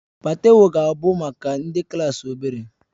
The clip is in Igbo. Patewo ga-abụ maka ndị klaasị obere